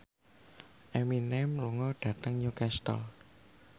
Eminem lunga dhateng Newcastle